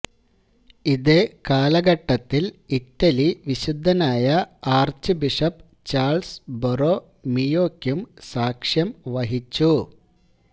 ഇതേ കാലഘട്ടത്തില് ഇറ്റലി വിശുദ്ധനായ ആര്ച്ചുബിഷപ് ചാള്സ് ബൊറോമിയോയ്ക്കും സാക്ഷ്യം വഹിച്ചു